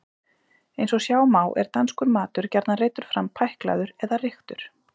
eins og sjá má er danskur matur gjarnan reiddur fram pæklaður eða reyktur